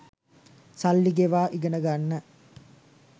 සල්ලි ගෙවා ඉගෙන ගන්න